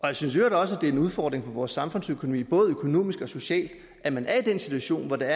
jeg synes i øvrigt også at det er en udfordring for vores samfundsøkonomi både økonomisk og socialt at man er i den situation at der